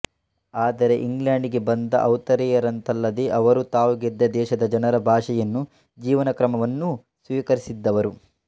ಆದರೆ ಇಂಗ್ಲೆಂಡಿಗೆ ಬಂದ ಔತ್ತರೇಯರಂತಲ್ಲದೆ ಅವರು ತಾವು ಗೆದ್ದ ದೇಶದ ಜನರ ಭಾಷೆಯನ್ನೂ ಜೀವನಕ್ರಮವನ್ನೂ ಸ್ವೀಕರಿಸಿದ್ದವರು